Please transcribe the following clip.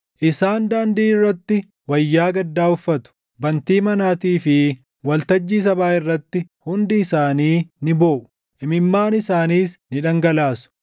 Isaan daandii irratti wayyaa gaddaa uffatu; bantii manaatii fi waltajjii sabaa irratti hundi isaanii ni booʼu; imimmaan isaaniis ni dhangalaasu.